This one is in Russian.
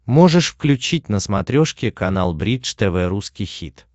можешь включить на смотрешке канал бридж тв русский хит